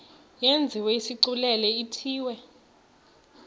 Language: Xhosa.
yenziwe isigculelo ithiwe